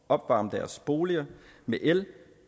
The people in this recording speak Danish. opvarme deres boliger med el